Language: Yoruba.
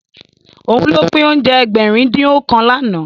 Òun ló pín oúnjẹ Ẹgbẹ̀rin-dín-ọ̀kan lánàá